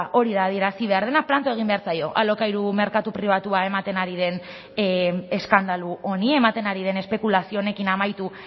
hori da adierazi behar dena planto egin behar zaio alokairu merkatu pribatua ematen ari den eskandalu honi ematen ari den espekulazio honekin amaitu